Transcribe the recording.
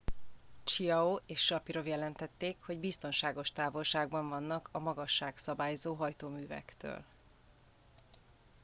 chiao és sharipov jelentették hogy biztonságos távolságban vannak a magasságszabályzó hajtóművektől